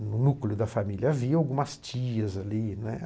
No núcleo da família havia algumas tias ali, né.